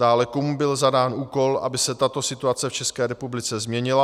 Dále, komu byl zadán úkol, aby se tato situace v České republice změnila